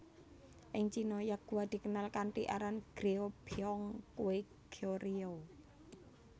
Ing Cina yakgwa dikenal kanthi aran Goryeobyeong kue Goryeo